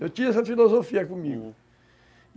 Eu tinha essa filosofia comigo.